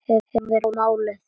Hefurðu málað hitt?